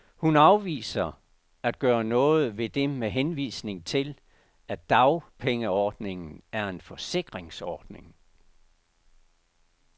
Hun afviser at gøre noget ved det med henvisning til, at dagpengeordningen er en forsikringsordning.